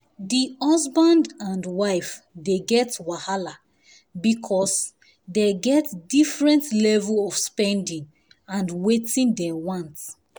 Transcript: the husband and wife dey get wahala because dey get different level of spending and wetin dey want